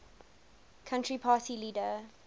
country party leader